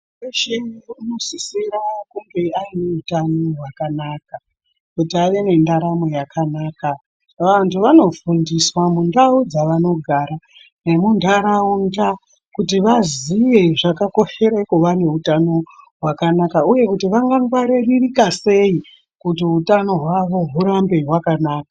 Weshe unosisira kunge aine utano hwakanaka kuti ave nendaramo yakanaka vantu vanofundiswa mundau dzavanogara nemuntaraunda kuti vaziye zvakakoshera kuva neutano hwakanaka uye kuti vangangwaririka sei kuti utano hwavo hurambe hwakanaka.